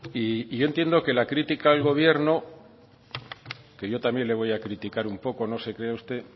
y yo entiendo que la crítica al gobierno que yo también le voy a criticar un poco no se crea usted